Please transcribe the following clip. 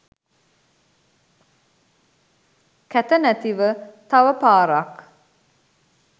කැත නැතිව තව පාරක්